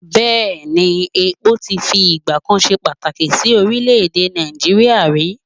Bẹ́ẹ̀ ni, epo ti fi ìgbà kan ṣe pàtàkì sí oprílè-èdè Nàìjíríà rí?